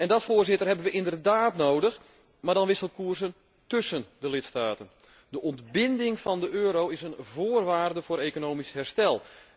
En dat hebben wij inderdaad nodig, maar dan wisselkoersen tussen de lidstaten. De ontbinding van de euro is een voorwaarde voor economisch herstel.